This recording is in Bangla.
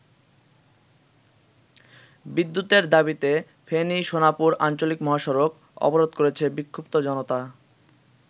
বিদ্যুতের দাবিতে ফেনী-সোনাপুর আঞ্চলিক মহসড়ক অবরোধ করেছে বিক্ষুদ্ধ জনতা।